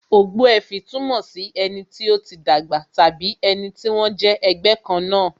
Ogbuefi túmọ̀ sí ẹni tí ó ti dàgbà tàbí ẹni tí wón jẹ́ ẹgbẹ́ kan náà